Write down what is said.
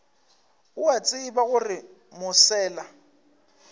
o a tseba gore mosela